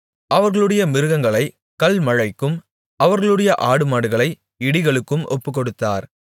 அவர்களுடைய மிருகங்களைக் கல்மழைக்கும் அவர்களுடைய ஆடுமாடுகளை இடிகளுக்கும் ஒப்புக்கொடுத்தார்